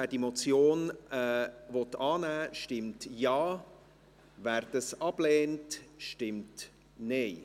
Wer diese Motion annehmen will, stimmt Ja, wer diese ablehnt, stimmt Nein.